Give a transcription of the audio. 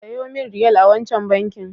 Sayo min Riyal a wancan bankin.